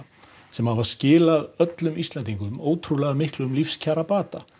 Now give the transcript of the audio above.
sem hafa skilað öllum Íslendingum ótrúlegum lífskjarabata